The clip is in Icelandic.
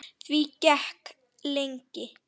Því gekk lengi.